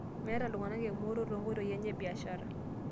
Meeta iltung'ana emooto too nkoitoi enye e biashara